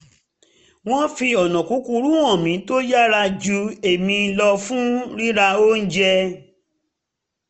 wọ́n fi ọ̀nà kúkúrú hàn mi tó yára ju èmi lọ fún rira oúnjẹ